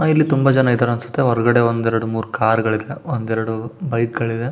ಅಹ್ ಇಲ್ಲಿ ತುಂಬಾ ಜನ ಇದ್ದಾರೆ ಅನ್ಸುತ್ತೆ ಹೊರಗಡೆ ಒಂದ್ ಎರಡ್ ಮೂರೂ ಕಾರ್ ಗಳಿವೆ ಒಂದೆರಡು ಬೈಕ್ ಗಳಿವೆ.